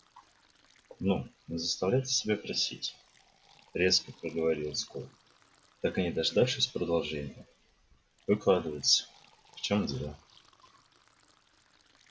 ну не заставляйте себя просить резко проговорил скотт так и не дождавшись продолжения выкладывайте в чем дело